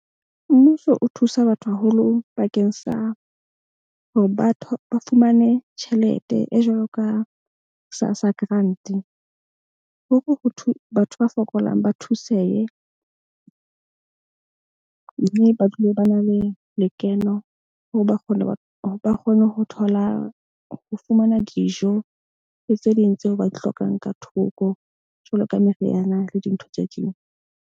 Mmuso o thusa batho haholo bakeng sa hore ba fumane tjhelete e jwalo ka SASSA grant-e hore ho thwe, batho ba fokolang ba thusehe. Mme ba dule ba na le lekeno hore ba kgone hore ba kgone ho thola, ho fumana dijo le tse ding tseo ba di hlokang ka thoko jwalo ka meriana le dintho tse ding.